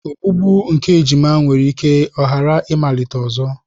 Ogbugbu nke ejima nwere ike ghara ịmalite ọzọ.